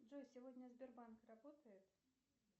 джой сегодня сбербанк работает